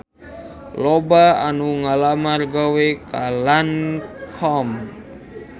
Loba anu ngalamar gawe ka Lancome